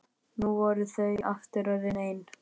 Nú voru þau aftur orðin ein.